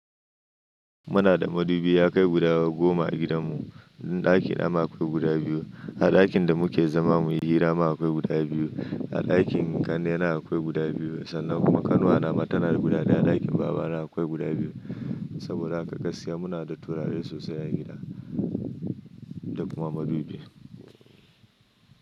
Muna da madubi yakai guda goma a gidanmu. Ni ɗakina ma akwai guda biyu, a ɗakin da muke zama muyi hira ma akwai guda biyu, a ɗakin ƙanne na akwai guda biyu sannan kuma ƙanuwana mata na guda biyu, a ɗakin babana akwai guda biyu. Saboda haka gaskiya muna da turare sosai a gida da kuma madubi.